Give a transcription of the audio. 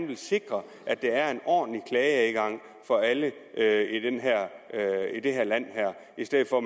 vil sikre at der er en ordentlig klageadgang for alle i det her land i stedet for